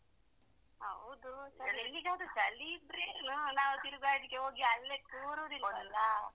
ಹೌದು ಎಲ್ಲಿಗಾದ್ರೂ ಚಳಿ ಇದ್ರೆ ಏನು ನಾವು ತಿರ್ಗಾಡಲಿಕೆ ಹೋಗಿ ಅಲ್ಲೇ ಕೂರುವುದು ಇಲ್ಲ ಅಲ್ಲ.